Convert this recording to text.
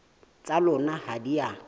tsa lona ha di a